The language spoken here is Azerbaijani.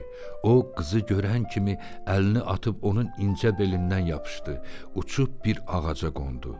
O qızı görən kimi əlini atıb onun incə belindən yapışdı, uçub bir ağaca qondu.